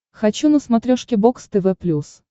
хочу на смотрешке бокс тв плюс